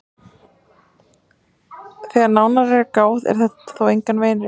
Þegar nánar er að gáð er þetta þó engan veginn rétt.